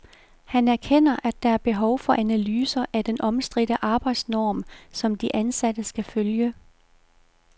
Han erkender, at der er behov for analyser af den omstridte arbejdsnorm, som de ansatte skal følge.